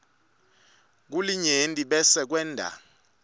kulinyenti bese kwenta